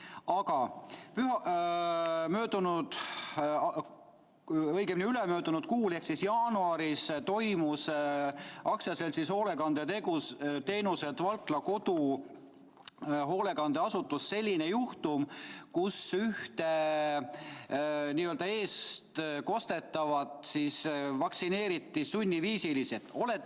Aga möödunud, õigemini ülemöödunud kuul ehk jaanuaris toimus AS‑is Hoolekandeteenused Valkla Kodu hoolekandeasutuses selline juhtum, kus ühte n‑ö eestkostetavat vaktsineeriti sunniviisiliselt.